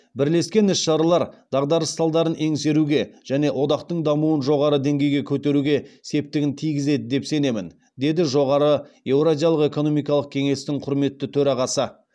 бірлескен іс шаралар дағдарыс салдарын еңсеруге және одақтың дамуын жоғары деңгейге көтеруге септігін тигізеді деп сенемін деді жоғары еуразиялық экономикалық кеңестің құрметті төрағасы